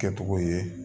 Kɛcogo ye